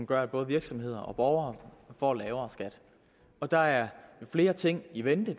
gør at både virksomheder og borgere får lavere skat og der er flere ting i vente